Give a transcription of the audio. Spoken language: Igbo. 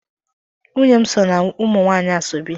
Nwunye m so na umunwanyi asoebi.